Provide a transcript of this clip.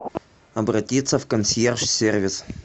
обратиться в консьерж сервис